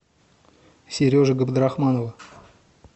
сережи габдрахманова